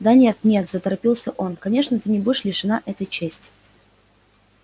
да нет нет заторопился он конечно ты не будешь лишена этой чести